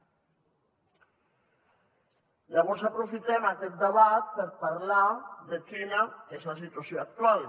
llavors aprofitem aquest debat per parlar de quina és la situació actual